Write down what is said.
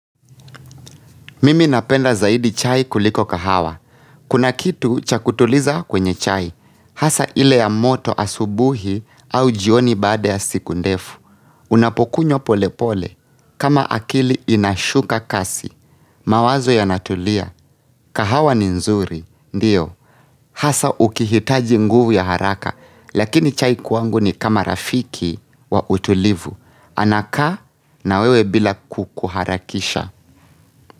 Mimi napenda zaidi chai kuliko kahawa. Kuna kitu cha kutuliza kwenye chai. Hasa ile ya moto asubuhi au jioni baada ya siku ndefu. Unapokunywa polepole. Kama akili inashuka kasi. Mawazo yanatulia. Kahawa ni nzuri. Ndiyo. Hasa ukihitaji nguvu ya haraka. Lakini chai kwangu ni kama rafiki wa utulivu. Anakaa na wewe bila kukuharakisha.